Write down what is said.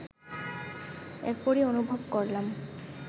এরপরই অনুভব করলাম